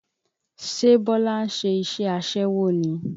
Ṣe Bọlá ń ṣe iṣẹ́ aṣẹ́wó ni?